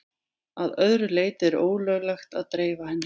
Að öðru leyti er ólöglegt að dreifa henni.